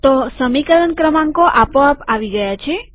તો સમીકરણ ક્રમાંકો આપો આપ આવી ગયા છે